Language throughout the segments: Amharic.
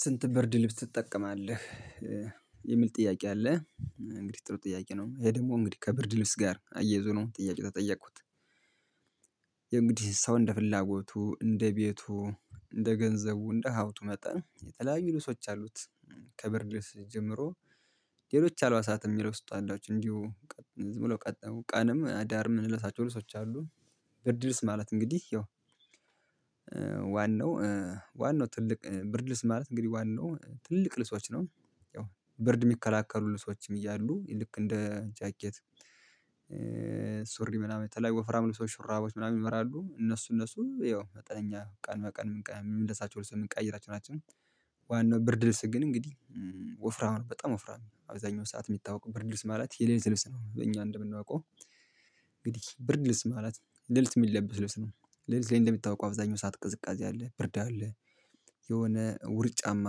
ስንት ብርድ ልብስ ትጠቀማለህ የሚል ጥያቄ አለ? እንግዲህ ጥሩ ጥያቄ ነው ይሄ ደግሞ እንግዲህ ከብርድ ልብስ ጋር አያይዞ ነው ጥያቄው የተጠየቅኩት። ያው እንግዲህ ሰው እንደ ፍላጎቱ እንደ ቤቱ እንደ ገንዘቡ እንደ ሀብቱ መጠን የተለያዩ ልብሶች አሉት። ከብርድ ልስ ጀምሮ። ሌሎች አልባሳት የሚለብሱት አላቸው እንዲሁ ዝም ብለው ቀጠው ቀንም አዳር ምንለሳቸው ልሶች አሉን። ብርድ ልብስ ማለት እንግዲህ ያው ዋናው ዋናው ትልቅ ብርድ ልብስ ማለት እንግዲህ ዋናው ትልቅ ልሶች ነው። ያው ብርድ የሚከላከሉ ልሶችም እያሉ ልክ እንደ ጃኬት። ሱሪ ምናምን የተለያዩ ወፍራም ልብሶች ሽሩራቦች ምናምን ይመራሉ እነሱ እነሱ ያው መጠነኛ ቀን በቀን የምንለሳቸው ምንቀይራቸው ናቸው። ዋናው ብርድ ልብስ ግን እንግዲህ ወፍራም ነው በጣም ወፍራም አብዛኛው ሰዓት የሚታወቀው ብርድ ልብስ ማለት የሌለት ልብስ ነው እኛ እንደምናውቀው። እንግዲህ ብርድ ልብስ ማለት ሌሊት የሚለበስ ልብስ ነው። ሌሊት ላይ እንደምታውቀው አብዛኛው ሰዓት ቅዝቃዜ አለ ብርድ አለ። የሆነ ውርጫማ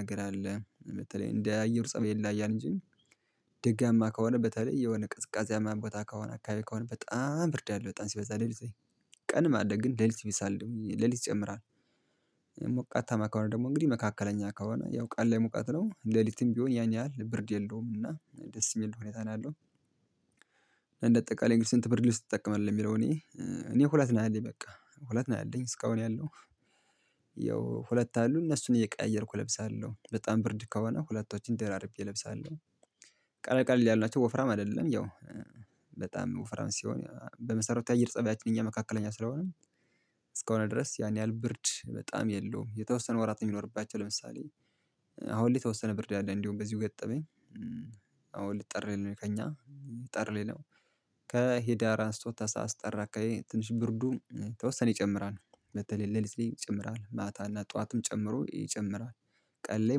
ነገር አለ በተለይ እንደ አየሩ ፀባይ የለ ይለያያል እንጂ። ደጋማ ከሆነ በተለይ የሆነ ቅዝቃዜያማ ቦታ ከሆነ አካባቢ ከሆነ በጣም ብርድ አለው በጣም ሲበዛ ሌሊት ላይ። ቀንም አለ ግን ሌሊት ይብሳል ሌሊት ይጨምራል። ሞቃት ታማ ከሆነ ደግሞ እንግዲህ መካከለኛ ከሆነ ያው ቃል ላይ ሙቀት ነው ሌሊትም ቢሆን ያን ያህል ብርድ የለውም እና ደስ የሚል ሁኔታ ነው ያለው። እና እንደ ጠቃላይ እንግዲህ አንት ብርድ ልብስ ትጠቀማለህ ለሚለው እኔ እኔ ሁለት ነው ያለኝ በቃ ሁለት ነው ያለኝ እስካሁን ያለው ያው ሁለት አሉ እነሱን እየቀያየርኩ እለብሳለሁ በጣም ብርድ ከሆነ ሁለቶችን ደራርቤ እለብሳለሁ። ቀለቀል ቀለቀል ያሉት ወፍራም አይደለም ያው። ወፍራም ሲሆን በመሰረቱ የአየር ፀባያቺን እኛ መካከለኛ ስለሆነም። ድረስ ያን ያህል ብርድ በጣም የለውም የተወሰነ ወራት ነው የሚኖርባቸው ለምሳሌ። አሁን ላይ የተወሰነ ብርድ አለ እንደውም በዚሁ ገጠመኝ። አሁን ጥር ላይ ነው ከእኛ ጥር ላይ ነው። ከህዳር አስቶ ታህሳስ ጥር አካባቢ ትንሽ ብርዱ ተወሰነ ይጨምራል በተለይ ሌሊት ላይ ይጨምራል ማታ እና ጠዋትም ጨምሮ ይጨምራል። ቀን ላይ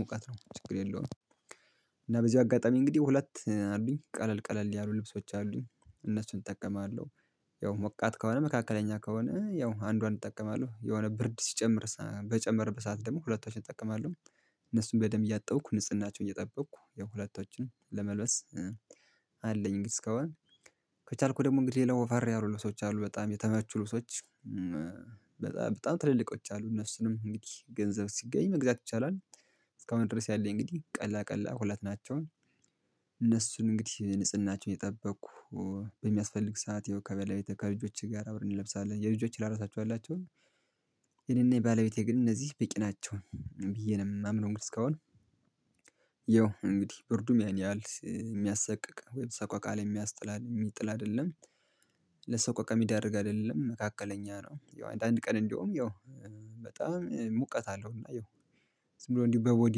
ሙቀት ነው ችግር የለውም። እና በዚህ አጋጣሚ እንግዲህ ሁለት አሉኝ ቀለል ቀለል ያሉ ልብሶች አሉኝ እነሱን እጠቀማለሁ። ያው ሞቃት ከሆነ መካከለኛ ከሆነ ያው አንዷን እጠቀማለሁ የሆነ ብርድ ሲጨምር በጨመረበ ት ሰዓት ደግሞ ሁለቶዎችን እጠቀማለሁ። እነሱን በደንብ እያያጠብሁ ንጽህናቸውን እየጠበቅሁ ያው ሁለቶችን ለመልበስ። አለኝ እንግዲህ እስካሁን ከቻልኩ ደግሞ እንግዲህ ሌላ ወፈር ሌላ ልብሶች አሉ በጣም የተመቹ ልብሶች። በጣም በጣም ትልልቆች አሉ እነሱንም እንግዲህ ገንዘብ ሲገኝ መግዛት ይቻላል። እስካሁን ድረስ ያለኝ እንግዲህ ቀላል ቀላል ሁለት ናቸውን። እነሱን እንግዲህ ንጽህናቸውን የጠበቅሁ በሚያስፈልግ ሰዓት የው ከበላይ ከልጆቼ ጋር አብረን እንለብሳለን የልጆቼን ላራሳቸው አላቸው። የኔና የባለቤቴ ግን እነዚህ ቢቂ ናቸው። ብዬ ነው የማምነው እንግዲህ እስካሁን። ያው እንግዲህ ብርዱም ያን ያህል የሚያሰቅቅ ወይም ሰቆቃ ላይ የሚያስጥላ የሚጥል አይደለም። ለሰቆቃ ሚዳርግ አይደለም መካከለኛ ነው። ያው አንድ አንድ ቀን እንደውም ያው። በጣም ሙቀት አለው እና ያው ዝም ብሎ እንዲሁ በቦዲ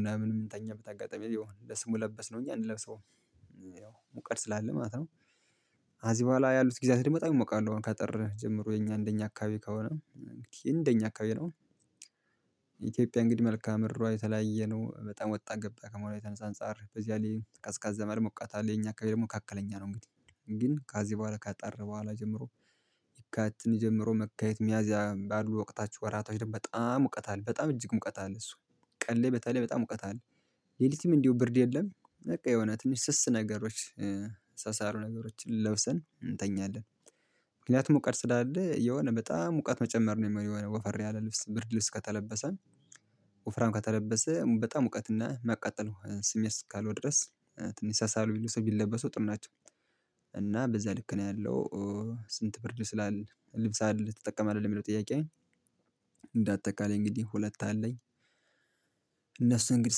ምናምን የምንተኛበት አጋጣሚ ያው ለስሙ ለበስነው እንጂ አንለብሰውም። ያው ሙቀት ስላለ ማለት ነው። ከዚህ በኋላ ያሉት ጊዜያት ደግሞ በጣም ይሞቃለሁ አሁን ከጥር ጀምሮ የኛ እንደኛ አካባቢ ከሆነ። እንደኛ አካባቢ ደግሞ ኢትዮጵያ እንግዲህ መልክአ ምድሯ የተለያየ ነው በጣም ወጣ ገባ ከመሆኗ የተነሳ አነጻጻር በዚያ ላይ ቀዝቃዛም አለ ሞቃት አለ የኛ አካባቢ ደግሞ ካከለኛ ነው እንግዲህ። ግን ከዚህ በኋላ ከጥር በኋላ ጀምሮ። ይካቲትን ጀምሮ መጋቢት ሚያዚያ ባሉ ወቅታችሁ ወራቶች ደግሞ በጣም ሙቀት አለ በጣም እጅግ ሙቀት አለ እሱ ቀሌ በተለይ በጣም ሙቀት አለ። ሌሊቲም እንደው ብርድ የለም በቃ የሆነ ትንሽ ስስ ነገሮች ሳሳ ያሉ ነገሮችን ለብሰን እንተኛለን። ምክንያቱም ሙቀት ስላለ የሆነ በጣም ሙቀት መጨመር ነው ወፈር ያለ ልብስ ብርድ ልብስ ከተለበሰ። ወፍራም ከተለበሰ በጣም ሙቀትና መቃጠሉ ስሜት እስካለው ድረስ። ትንሽ ሳሳ ያሉ ልብሶች ቢለበሱ ጥሩ ናቸው። እና በዛ ልክ ነው ያለው። ስንት ብርድ ስላለ ልብስ አለ ተጠቀማለህ ለሚለው ጥያቄ አጠቃላይ እንግዲህ ሁለት አለኝ። እነሱ እንግዲህ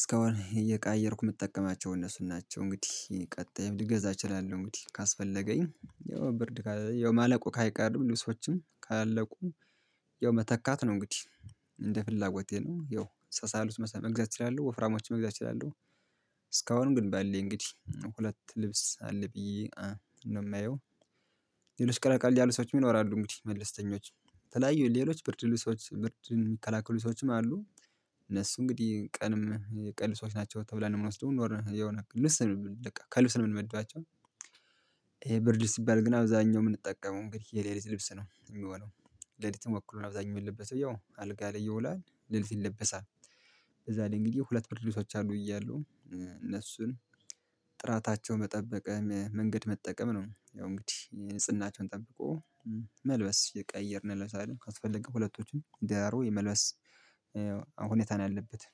እስካሁን እየቀየርኩ የምጠቀማቸው እነሱ ናቸው እንግዲህ ቀጥዬም ልገዛ እችላለሁ እንግዲህ ካስፈለገኝ ያው ብርድ ያው ማለቁ አይቀርም ልብሶችም ካለቁ። የው መተካት ነው እንግዲህ። እንደ ፍላጎቴ ነው ያው ሳሳ ያሉት መግዛት እችላለሁ ወፍራሞችን መግዛት እችላለሁ። እስካሁን ግን በለኝ እንግዲህ ሁለት ልብስ አለ ብዬ ነው የማየው። ሌሎች ቀለል ቀለል ያሉ ሰዎች ይኖራሉ እንግዲህ መልስተኞች። የተለያዩ ሌሎች ብርድ ልብሶች ብርድ የሚከላከሉ ልብሶችም አሉ። እነሱ እንግዲህ ቀንም የቀን ሰዎች ናቸው ተብላ የምንወስደው የሆነ ልብስ ነውከልብ ነው የምንመድባቸው። ይሄ ብርድ ልብስ ሚባል ግን አብዛኛው የምንጠቀመው እንግዲህ የሌሊት ልብስ ነው የሚሆነው። ሌሊትም ወክሎ ነው አብዛኛው የሚለበሰው ያው አልጋ ላይ ይውላል ሌሊት ይለበሳል። እዛ እንግዲህ ላይ እንግዲህ ሁለት ብርድ ልብሶች አሉኝ ብያለሁ። እነሱን ጥራታቸውን በጠበቀ መንገድ መጠቀም ነው ያው እንግዲህ ንጽህናቸውን ጠብቆ መልበስ እየቀያየርን እንለብሳለን ካስፈለገ ሁለቶችንም ደራርቦ የመልበስ። ሁኔታ ነው ያለበት።